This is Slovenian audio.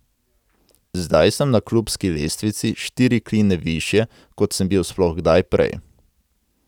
Zdaj sem na klubski lestvici štiri kline višje, kot sem bil sploh kdaj prej.